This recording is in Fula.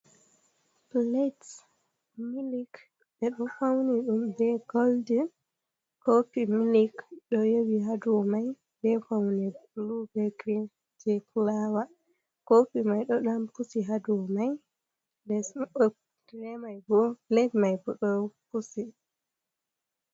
Plad milik ɓeɗo fauni ɗum be goldin, kofi milik ɗo yowi haduo mai, be fauni blu be grin je kulawa kofi mai ɗo ɗan pusi haduow mai nden pled mai bo ɗo pusi.